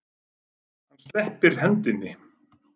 Hann sleppir hendinni.